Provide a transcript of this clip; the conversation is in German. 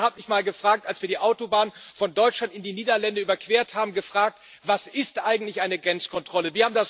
Meine Tochter hat mich mal, als wir die Autobahn von Deutschland in die Niederlande überquert haben, gefragt Was ist eigentlich eine Grenzkontrolle?